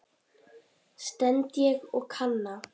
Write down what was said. stend ég og kanna.